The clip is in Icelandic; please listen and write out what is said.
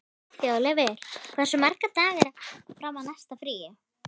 Þjóðleifur, hversu margir dagar fram að næsta fríi?